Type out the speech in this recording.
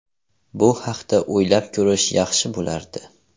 Bu haqda o‘ylab ko‘rish yaxshi bo‘lardi.